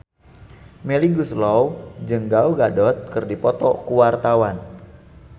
Melly Goeslaw jeung Gal Gadot keur dipoto ku wartawan